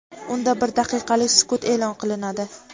unda bir daqiqalik sukut e’lon qilinadi.